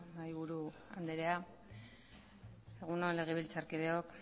mahaiburu andrea egun on legebiltzarkideok